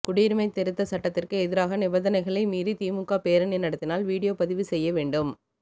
குடியுரிமை திருத்த சட்டத்திற்கு எதிராக நிபந்தனைகளை மீறி திமுக பேரணி நடத்தினால் வீடியோ பதிவு செய்ய வேண்டும்